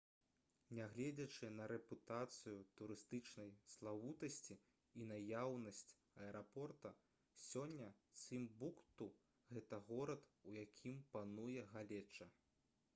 нягледзячы на рэпутацыю турыстычнай славутасці і наяўнасць аэрапорта сёння цімбукту гэта горад у якім пануе галеча